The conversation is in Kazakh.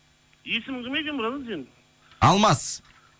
есімің кім екен братан сенің алмас